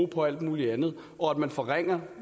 på alt muligt andet og at man forringer